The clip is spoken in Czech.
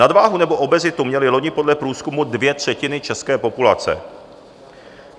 Nadváhu nebo obezitu měly loni podle průzkumu dvě třetiny české populace.